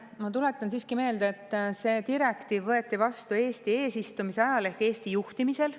Ma tuletan siiski meelde, et see direktiiv võeti vastu Eesti eesistumise ajal ehk Eesti juhtimisel.